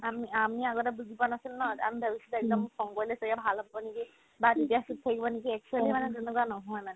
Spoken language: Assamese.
আমি আমি আগতে বুজি পোৱা নাছিলো ন আমি তাৰপিছত একদম খং কৰিলে ছাগে ভাল হ'ব নেকিয়া বা তেতিয়া চুপ থাকিব নেকি actually মানে এনেকুৱা নহয় মানে